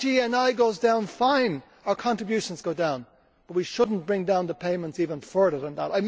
When our GNI goes down, fine, our contributions go down, but we should not bring down the payments even further than that.